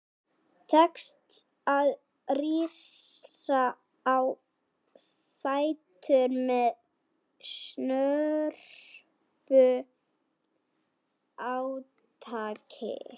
Tekst að rísa á fætur með snörpu átaki.